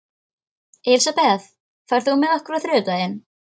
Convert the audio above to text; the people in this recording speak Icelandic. Elisabeth, ferð þú með okkur á þriðjudaginn?